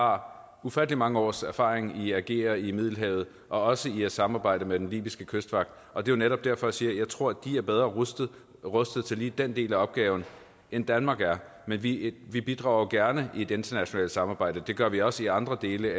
har ufattelig mange års erfaring i at agere i middelhavet og også i at samarbejde med den libyske kystvagt og det er netop derfor jeg siger at jeg tror at de er bedre rustet rustet til lige den del af opgaven end danmark er men vi vi bidrager gerne i et internationalt samarbejde det gør vi også i andre dele